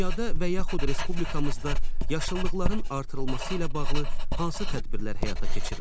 Dünyada və yaxud respublikamızda yaşıllıqların artırılması ilə bağlı hansı tədbirlər həyata keçirilir?